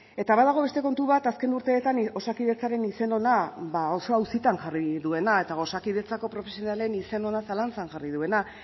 eta badago beste kontu bat azken urteetan osakidetzaren izen ona ba oso auzitan jarri duena eta osakidetzako profesionalen izen ona zalantzan jarri duena